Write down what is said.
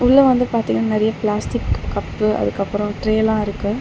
உள்ள வந்து பாதிங்னா நெறைய பிளாஸ்டிக் கப்பு அதுக்கப்புறம் ட்ரேலாம் இருக்கு.